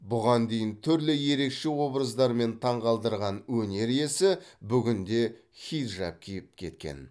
бұған дейін түрлі ерекше образдармен таңғалдырған өнер иесі бүгінде хиджаб киіп кеткен